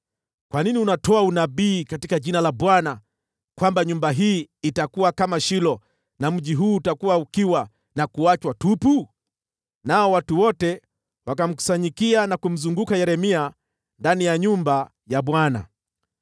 Kwa nini unatoa unabii katika jina la Bwana kwamba nyumba hii itakuwa kama Shilo na mji huu utakuwa ukiwa na kuachwa tupu?” Nao watu wote wakamkusanyikia na kumzunguka Yeremia ndani ya nyumba ya Bwana .